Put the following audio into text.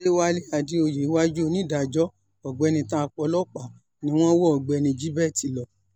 àdẹ̀wálé àdèoyè iwájú onídàájọ́ ọ̀gbẹ́ni ta pọ́lọ́pà ni wọ́n wọ ọ̀gbẹ́ni gilbert lọ